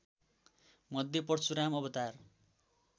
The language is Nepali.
मध्ये परशुराम अवतार